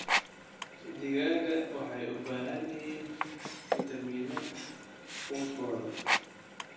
Digaagga waxay u baahan yihiin fitamiino quudkooda.